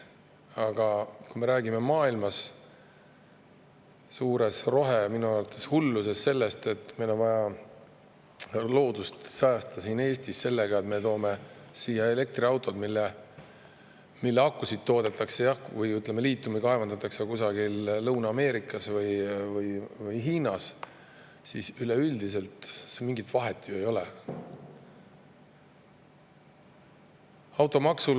Aga kui me räägime maailma suures rohe- minu arvates hulluses sellest, et meil on vaja loodust siin Eestis säästa sellega, et me toome siia elektriautod, mille akusid toodetakse või liitiumit kaevandatakse kusagil Lõuna-Ameerikas või Hiinas, siis üleüldiselt mingit vahet ju ei ole.